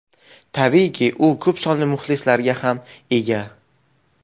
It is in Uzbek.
Tabiiyki, u ko‘p sonli muxlislarga ham ega.